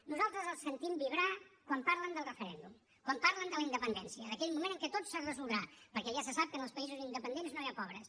nosaltres els sentim vibrar quan parlen del referèndum quan parlen de la independència d’aquell moment en què tot es resoldrà perquè ja se sap que en els països independents no hi ha pobres